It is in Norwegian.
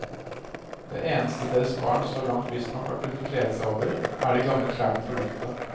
Det eneste deres barn så langt visstnok har kunnet glede seg over, er de gamle klærne på loftet.